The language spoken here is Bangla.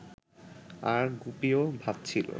আর গুপিও ভাবছিল